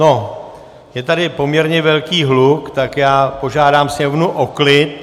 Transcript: No, je tady poměrně velký hluk, tak já požádám sněmovnu o klid.